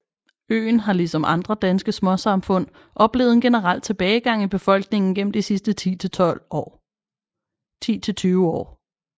Øen har ligesom andre danske småsamfund oplevet en generel tilbagegang i befolkningen gennem de sidste 10 til 20 år